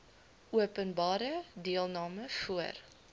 openbare deelname voor